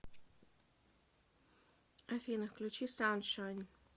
афина включи саншайн